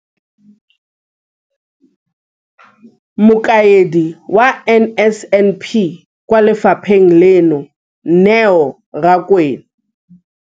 Mokaedi wa NSNP kwa lefapheng leno, Neo Rakwena.